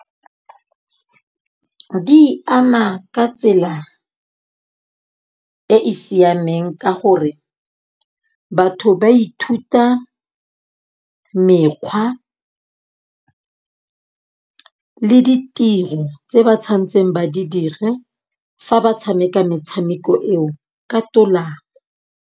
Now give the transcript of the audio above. Di ama ka tsela e e siameng ka gore, batho ba ithuta mekgwa le ditiro tse ba tshwanetseng ba di dire fa ba tshameka metshameko eo ka .